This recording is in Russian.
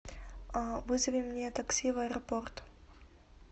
вызови мне такси в аэропорт